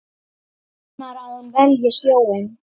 Vonar að hún velji sjóinn.